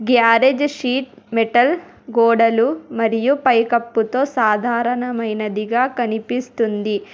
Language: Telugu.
గ్యారేజ్ షీట్ మెటల్ గోడలు మరియు పైకప్పుతో సాధారణమైనదిగా కనిపిస్తుంది.